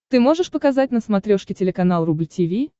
ты можешь показать на смотрешке телеканал рубль ти ви